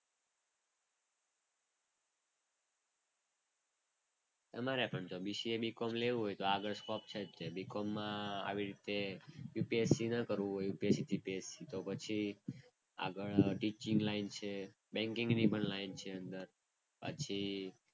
તમારે પણ BCA BCOM લેવું હોય તો આગળ સ્કોપ છે તે. ને બીકોમમાં આવી રીતે UPSC ન કરવું હોય UPSCGPSC તો પછી આગળ ટીચિંગ લાઇન છે, બેન્કિંગની પણ લાઈન છે. અને પછી,